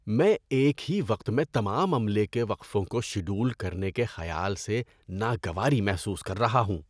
میں ایک ہی وقت میں تمام عملے کے وقفوں کو شیڈول کرنے کے خیال سے ناگواری محسوس کر رہا ہوں۔